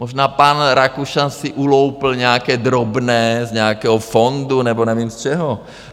Možná pan Rakušan si uloupl nějaké drobné z nějakého fondu nebo nevím z čeho.